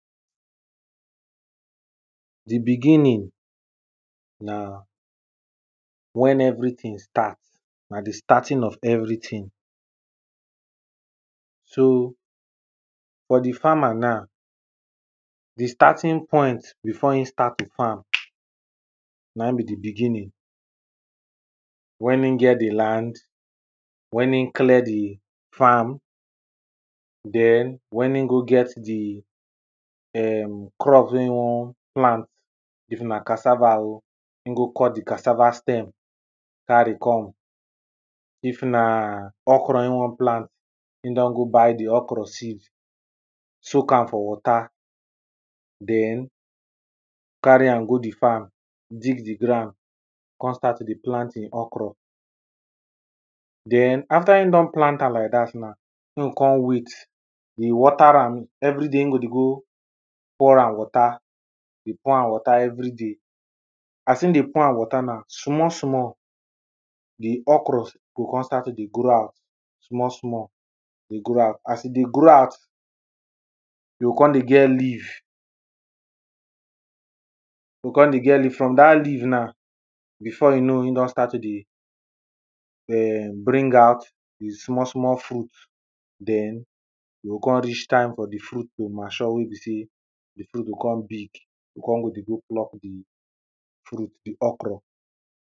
the beginning, na wen everything start, na the starting of everything. so, for the farmer na, the starting point before im start the farm na im be the beginning, wen im get the land, wen im clear the farm, den, wen im go get the um, crops wey in wan plant, if na cassava o, im go cut the cassava stem carry come. if na okro im wan plant, im don go buy the okro seed soak am for water, den carry am go the farm, dig the ground, con start to dey plant im okro. den after im don plant am like dat na, im go con wait, dey water am everyday im go dey go pour am water, dey pour am water everyday, as im dey pour am water na small small the okra go con start to dey grow out small small, dey grow out, as e dey grow out you con dey get leave you con dey get leave, from dat leave na, before e know im don start to dey um bring out the small small fruit den, you con reach time for the fruit to mature wey be sey, the fruit go con big, you o con go dey go pluck the fruit, the okro.